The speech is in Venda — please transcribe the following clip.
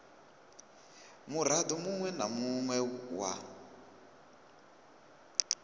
murado munwe na munwe wa